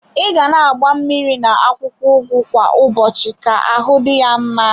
I ga na agba mmiri na akwụkwọ ugu kwa ụbọchị ka ahụ dị ya mma.